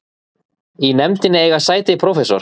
Í nefndinni eiga sæti prófessor